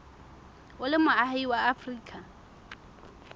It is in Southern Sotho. o le moahi wa afrika